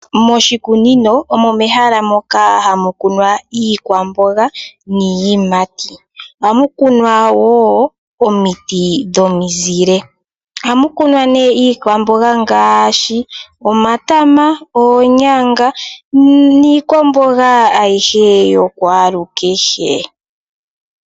Moshikunino omo mehala moka hamu kunwa iikwamboga niiyimati, ohamu kunwa wo omiti dhomizile. Ohamu kunwa nee iikwamboga ngaashi omatama, oonyanga niikwamboga ayike yokwalukehe.